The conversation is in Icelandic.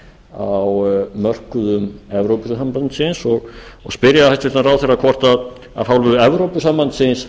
á mörkuðum evrópusambandsins og spyrja hæstvirtan ráðherra hvort af hálfu evrópusambandsins